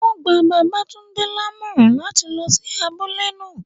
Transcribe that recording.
Won gba Babatunde lamoran lati lo si abule naa